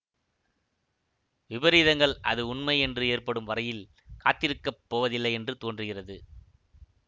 விபரீதங்கள் அது உண்மை என்று ஏற்படும் வரையில் காத்திருக்கப் போவதில்லையென்று தோன்றுகிறது